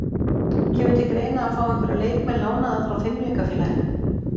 Kemur til greina að fá einhverja leikmenn lánaða frá Fimleikafélaginu?